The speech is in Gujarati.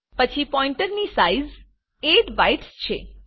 પછી પોઈન્ટરની સાઈઝ 8 બાયટ્સ છે